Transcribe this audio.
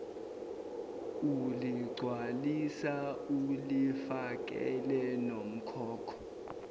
uligcwalisa ulifakele nomkhokho